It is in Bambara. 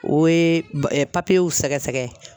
O ye papiyew sɛgɛsɛgɛ.